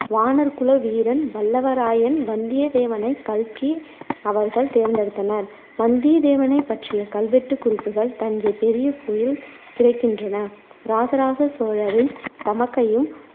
வாணர் குல வீரன் வல்லவராயன் வந்தியத்தேவனைக் கல்கி அவர்கள் தேர்ந்தெடுத்தனர் வந்தியத்தேவனைப் பற்றிய கல்வெட்டுக் குறிப்புகள் தஞ்சைப் பெரிய கோயில் கிடைக்கின்றன. இராசராச சோழரின் தமக்கையும்